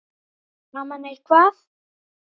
Daman er hvað.